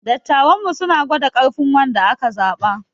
Dattawanmu suna gwada ƙarfin wanda aka zaba.